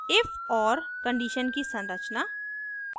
if or condition की संरचना